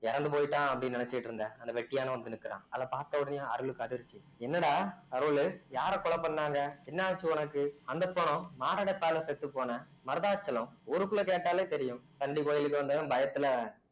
இறந்து போயிட்டான் அப்படின்னு நினைச்சுட்டிருந்த அந்த வெட்டியானும் வந்து நிக்கிறான் அத பார்த்த உடனே அருளுக்கு அதிர்ச்சி என்னடா அருளு யார கொலை பண்ணாங்க என்ன ஆச்சு உனக்கு அந்தப் பொணம் மாரடைப்பால செத்துப்போன மருதாச்சலம் ஊருக்குள்ள கேட்டாலே தெரியும் நந்தி கோயிலுக்கு வந்தவன் பயத்துல